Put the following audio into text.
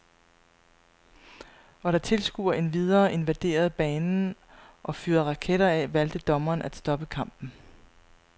Og da tilskuere endvidere invaderede banen og fyrede raketter af, valgte dommeren at stoppe kampen.